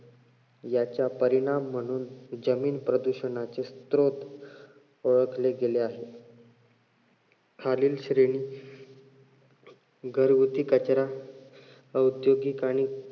याचा परिणाम म्हणून जमीन प्रदूषणाचा श्रोत ओळखले गेले आहेत. खालील श्रेणी घरगुती कचरा औद्योगिक आणि